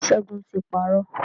Ṣẹ́gun ti parọ́.